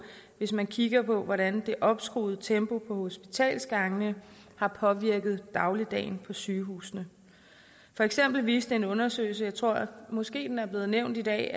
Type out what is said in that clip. hvis man kigger på hvordan det opskruede tempo på hospitalsgangene har påvirket dagligdagen på sygehusene for eksempel viste en undersøgelse jeg tror måske den er blevet nævnt i dag